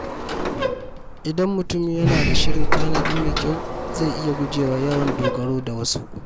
Idan mutum yana da shirin tanadi mai kyau, zai iya guje wa yawan dogaro da wasu.